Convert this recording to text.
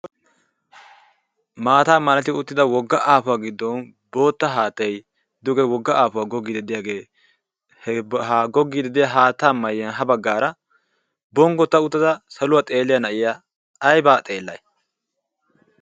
Maataa malati uttida wogga aafuwaa giddon bootta haattay duge wogga aafuwaa goggii de'iyaagee ha goggi ded'ya haattaa miyiyan ha baggaara bonggotta uttada saluwaa xeeliyaa na'iya aybaa xeellay?